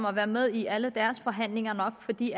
har været med i alle deres forhandlinger fordi